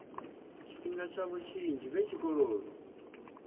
tshifhinga tshavho tshinzhi vhe tshikoloni